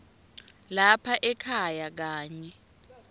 lapha ekhaya kanye